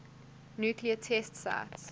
nuclear test sites